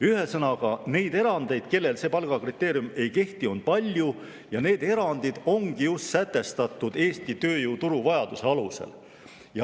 Ühesõnaga, neid erandeid, kelle kohta see palgakriteerium ei kehti, on palju ja need erandid ongi just sätestatud Eesti tööturu vajaduste alusel.